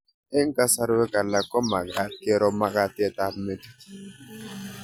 Eng' kasarwek alak ko mag'at kero mag'atet ab metit